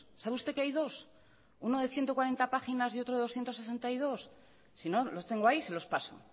sabe usted que hay dos uno de ciento cuarenta páginas y otro de doscientos sesenta y dos sino los tengo ahí se los paso